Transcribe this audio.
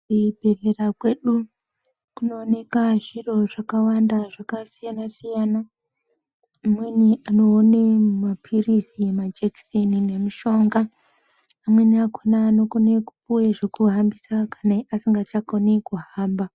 Kuzvibhedhlera kwedu kunooneka zviro zvakawanda zvakasiyana-siyana. Amweni anoone maphilizi nemajekiseni nemishonga. Amweni akona anokone kupuwe zvekuhambisa kana asingachakoni kuhamba.